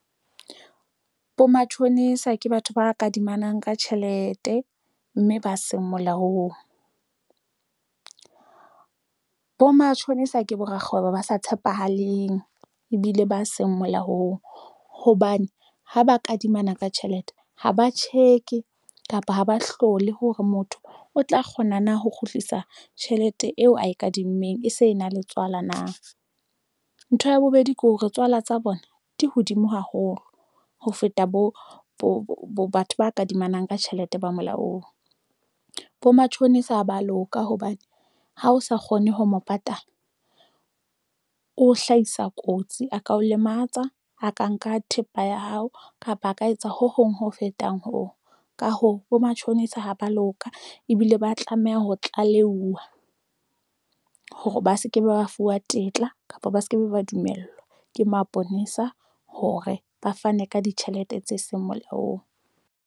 Bo matjhonisa ke batho ba kadimanang ka tjhelete mme ba seng molaong bo matjhonisa ke bo rakgwebo, ba sa tshepahaleng ebile ba seng molaong hobane ha ba kadimana ka tjhelete, ha ba check-e kapa ha ba hlole hore motho o tla kgona na ho kgutlisa tjhelete eo ntho kadimmeng e se e na le tswala. Ntho ya bobedi ke hore tswala tsa bona di hodimo haholo ho feta bo bo batho ba kadimana ka tjhelete ba molaong bo matjhonisa. Ba a loka hobane ha o sa kgone ho mo patala, o hlahisa kotsi a ka o lematsa. A ka nka thepa ya hao, kapa a ka etsa ho hong ho fetang ho ka ho bo matjhonisa ha ba loka ebile ba tlameha ho tlaleha. Fuwa hore ba seke ba fuwa tetla kapa ba se ke be ba dumellwa ke maponesa hore ba fane ka ditjhelete tse seng molaong.